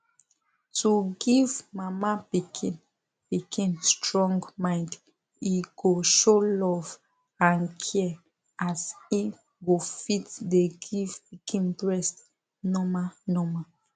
to give mama pikin pikin strong mind e go show love and care as im go fit dey give pikin breast normal normal